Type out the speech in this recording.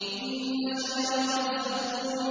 إِنَّ شَجَرَتَ الزَّقُّومِ